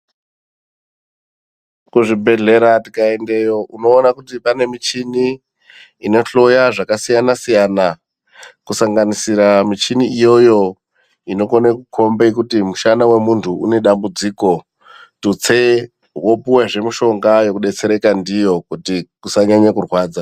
Kuzvibhedhlera tikaendeyo unoona kuti pane michini inohoya zvakasiyana-siyana, kusanganisira michini iyoyo inokone kukombe kuti mushana vemuntu unedambudziko. Tutse vopuvezve mishonga yekubetsereka ndiyo kuti usanyanye kurwadza.